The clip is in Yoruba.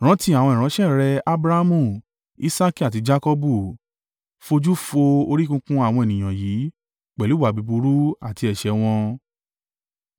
Rántí àwọn ìránṣẹ́ rẹ Abrahamu, Isaaki, àti Jakọbu. Fojú fo orí kunkun àwọn ènìyàn yìí, pẹ̀lú ìwà búburú àti ẹ̀ṣẹ̀ wọn.